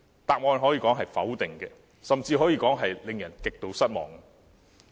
答案可以說是否定的，甚至可以說令人極度失望。